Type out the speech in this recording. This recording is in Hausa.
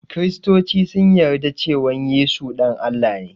Kristoci sun yarda cewan Yesu ɗan Allah ne